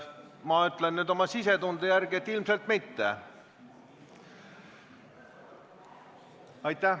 Ma ütlen nüüd oma sisetunde järgi, et ilmselt mitte.